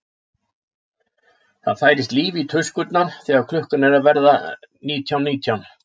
Það færist líf í tuskurnar þegar klukkan er að verða nítján nítján.